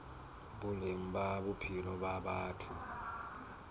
boleng ba bophelo ba batho